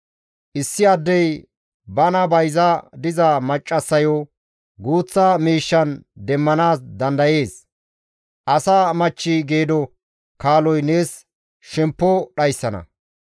Issi addey bana bayza diza maccassayo guuththa miishshan demmanaas dandayees; asa machchi geedo kaaloy nees shemppo dhayssana.